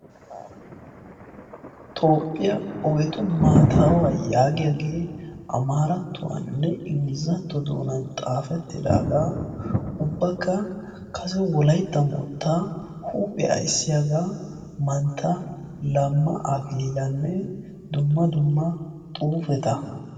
Toophphiyaa ogetu maatawaa yaagiyaagee amaarattuwaaninne engilizatto doonan xaafettidagaa ubbaka kase wolaytta moottaa huuphphe ayssiyaagaa mantta lamma akililanne dumma dumma xuufeta.